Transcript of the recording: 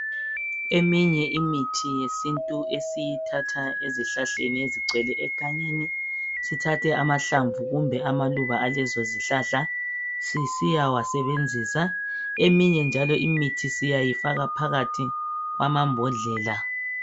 Eminye imithi yesintu esiyithatha ezihlahleni ezigcwele egangeni, sithathe amahlamvu kumbe amaluba alezo zihlahla sisiyawasebenzisa, eminye njalo imithi siyayifaka phakathi kwamambodlela.